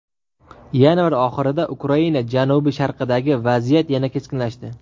Yanvar oxirida Ukraina janubi-sharqidagi vaziyat yana keskinlashdi.